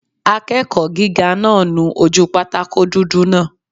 Akẹ́kọ̀ọ́ gíga náà nu ojú pátákó dúdú náà